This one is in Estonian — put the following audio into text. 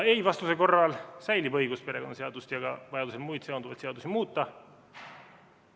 Ei-vastuse korral säilib õigus perekonnaseadust ja vajaduse korral muid seonduvaid seadusi muuta.